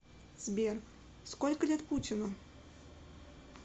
сбер сколько лет путину